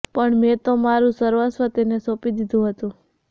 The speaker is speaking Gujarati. પણ મેં તો મારું સર્વસ્વ તેને સોંપી દીધું હતું